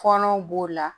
Kɔnɔw b'o la